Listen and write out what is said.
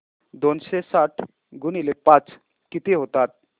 दोनशे साठ गुणिले पाच किती होतात